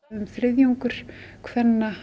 þriðjungur kvenna